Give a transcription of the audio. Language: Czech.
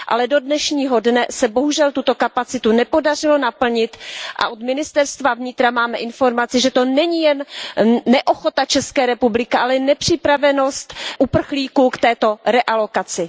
Do dnešního dne se bohužel tuto kapacitu nepodařilo naplnit a od ministerstva vnitra mám informaci, že to není jen neochota ČR, ale nepřipravenost uprchlíků k této realokaci.